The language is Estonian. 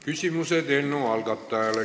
Küsimused eelnõu algatajale.